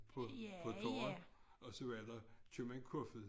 På på torvet og så var der købmand Kofoed